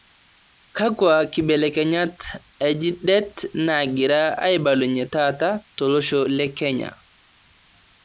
kakua kibelekenyat enji det naagira aibalunye taata tolosho lekenya